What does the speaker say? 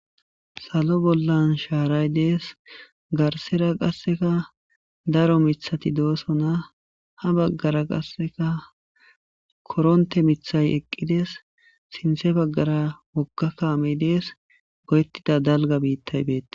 salo bollan shaaray dees garsera qasseka daro mithati doosona ha baggara qasseka koronte mithay eqqides sinthe baggara woggakaamey dees go7ettida dalga biittay beette